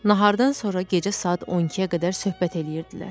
Nahardan sonra gecə saat 12-yə qədər söhbət eləyirdilər.